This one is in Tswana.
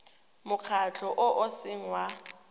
mokgatlho o o seng wa